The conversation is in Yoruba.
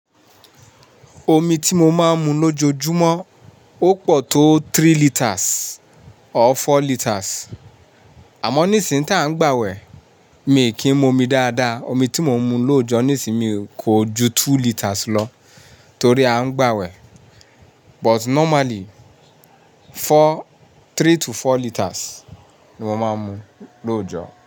Omi tí mo máa ń mu lójoojúmọ́ ó pọ̀ tó three litres or four litres. Àmọ́ ní ìsìn tá ń gbàwẹ̀, mi kì í mu omi dáadáa. Omi tí mò ń mu lóojọ níìsín mi kò ju two litres lọ torí a ń gbàwẹ̀. But normally four, three to four litres ni mo máa ń mu lóojọ.